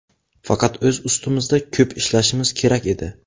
Faqat o‘z ustimizda ko‘p ishlashimiz kerak edi.